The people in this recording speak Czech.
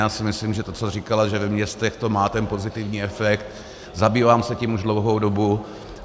Já si myslím, že to co říkala, že ve městech to má ten pozitivní efekt, zabývám se tím už dlouhou dobu.